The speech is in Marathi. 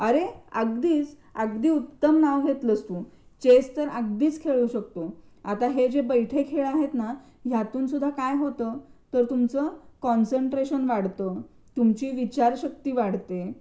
अरे अगदीच अगदी उत्तम नाव घेतलंस तू चेस तर अगदीच खेळू शकतो आता हे जे बैठे खेळ आहेत ना, ह्यातून सुद्धा काय होतं, तुमचं कॉन्सन्ट्रेशन वाढतं, तुमची विचारशक्ती वाढते